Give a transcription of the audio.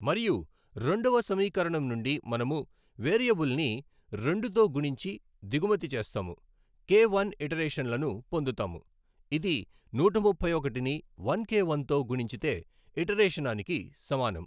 మరియు రెండవ సమీకరణం నుండి మనము వేరియబుల్ని రెండు తో గుణించి దిగుమతి చేస్తాము కే వన్ ఇటరేషన్లను పొందుతాము. ఇది నూట ముప్పై ఒకటిని వన్ కే వన్ తో గుణించితే ఇటరేషనానికి సమానం.